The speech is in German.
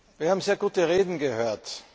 Wir haben sehr gute Reden gehört.